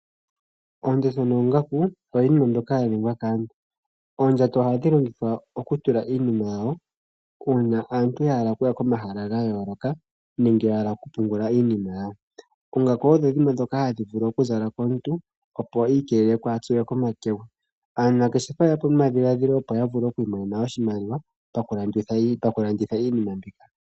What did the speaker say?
Oondjato noongaku oyo yimwe mbyoka yaningwa kaantu . Oondjato ohadhi longithwa okutulwa iinima yawo uuna aantu yahala okuya komahala gayooloka nenge yahala okupungula iinima yawo. Oongaku odho dhimwe ndhoka hadhi vulu okuzalwa kaantu opo yiikiilele kaaya tsuwe komakegwa. Aanangeshefa oyeyapo nomadhiladhilo opo yamone iimaliwa pakukanditha iinima mbika.